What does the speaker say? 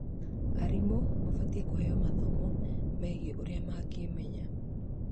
Arimũ mabatie kũheo mathomo megie ũrĩa mangĩmenya